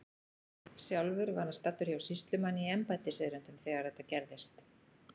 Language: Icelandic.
Sjálfur var hann staddur hjá sýslumanni í embættiserindum þegar þetta gerðist.